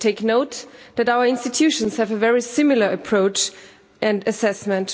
I take note that our institutions have a very similar approach and assessment.